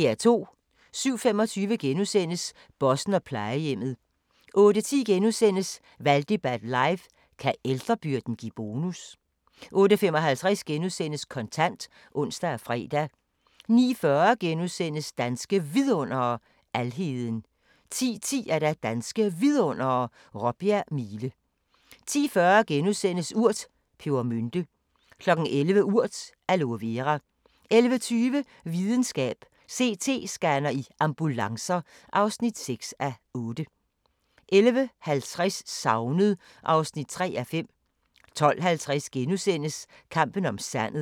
07:25: Bossen og plejehjemmet * 08:10: Valgdebat live: Kan ældrebyrden give bonus? * 08:55: Kontant *(ons og fre) 09:40: Danske Vidundere: Alheden * 10:10: Danske Vidundere: Råbjerg Mile 10:40: Urt: Pebermynte * 11:00: Urt: Aloe Vera 11:20: Videnskab: CT-scanner i ambulancer (6:8) 11:50: Savnet (3:5) 12:50: Kampen om sandet *